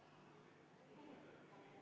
Vaheaeg on otsa saanud.